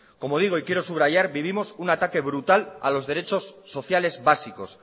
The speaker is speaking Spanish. como digo y quiero subrayar vivimos un ataque brutal a los derechos sociales básicos